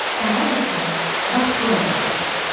Əlac isə bax buradadır,